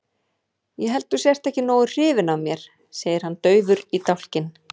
Ég held að þú sért ekki nógu hrifin af mér, segir hann daufur í dálkinn.